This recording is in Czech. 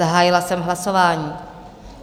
Zahájila jsem hlasování.